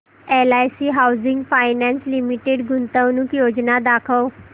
LIC housing finance limited गुंतवणूक योजना दाखव